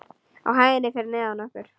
Á hæðinni fyrir neðan okkur.